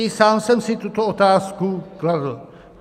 I sám jsem si tuto otázku kladl.